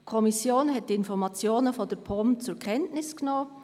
Die Kommission hat die Informationen der POM zur Kenntnis genommen.